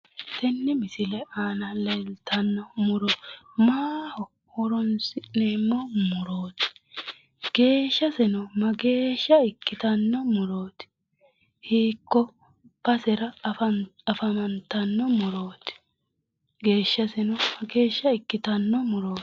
Tenne misile aana leeltanno muro maaho horoonsi'neemmo murooti geeshaseno mageesha ikkitanno murooti hiikko basera afantanno murooti geeshaseno mageesha ikkitanno murooti